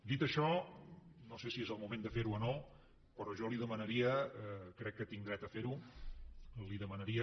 dit això no sé si és el moment de fer ho o no però jo li demanaria crec que tinc dret a fer ho li demanaria